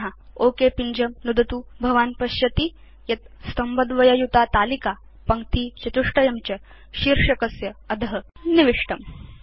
पुन ओक पिञ्जं नुदतु भवान् पश्यति यत् स्तम्भद्वययुतातालिका पङ्क्तिचतुष्टयं च शीर्षकस्य अध निविष्टम्